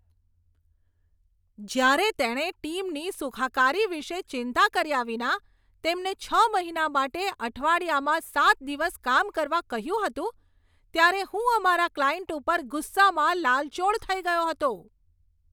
જ્યારે તેણે ટીમની સુખાકારી વિશે ચિંતા કર્યા વિના તેમને છ મહિના માટે અઠવાડિયામાં સાત દિવસ કામ કરવા કહ્યું હતું, ત્યારે હું અમારા ક્લાયન્ટ પર ગુસ્સામાં લાલચોળ થઈ ગયો હતો.